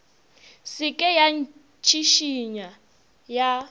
se ke ya itšhišinya ya